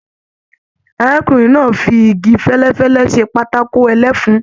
Arákùnrin náà fí ìgi fẹlẹfẹlẹ ṣe patako ẹlẹfun.